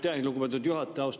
Aitäh, lugupeetud juhataja!